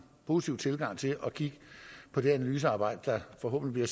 positiv tilgang til at kigge på det analysearbejde der forhåbentlig